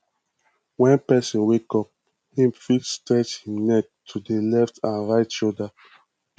when person wake up im fit stretch im neck to di letf and right shoulder